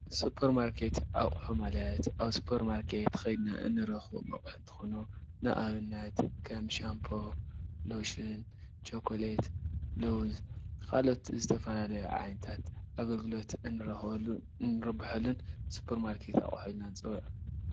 ሱፐርማርኬት ኣቁሑ ማለት ኣብ ሱፐርማርኬት ኬድና እንረክቦም ኣቁሑት ኮይኖም ንኣብነት ከም ሻምፖ፣ ሎሽን፣ ቾኮሌት፣ ሎውዝ ካልኦት ዝተፈላለዩ ዓይነታት ኣገልግሎት እንረክበሉ እንርብሓሉን ሱፐርማርኬት ኣቁሑ ንፅዉዖም ።